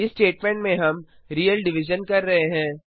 इस स्टेटमेंट में हम रियल डिविजन कर रहे हैं